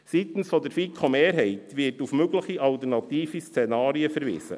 Seitens der FiKo-Mehrheit wird auf mögliche alternative Szenarien verwiesen.